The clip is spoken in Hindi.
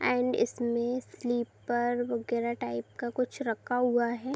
एंड इसमें स्‍लीपर वगैरह टाइप का कुछ रखा हुआ है ।